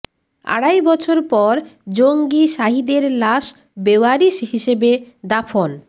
আড়াই বছর পর জঙ্গি জাহিদের লাশ বেওয়ারিশ হিসেবে দাফন